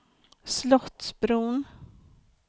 Slottsbron